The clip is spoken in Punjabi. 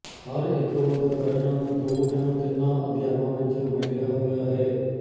ਹਰ ਇੱਕ ਅਧਿਕਰਣ ਦੋ ਜਾਂ ਤਿੰਨਾਂ ਅਧਿਆਵਾਂ ਵਿੱਚ ਵੰਡਿਆ ਹੋਇਆ ਹੈ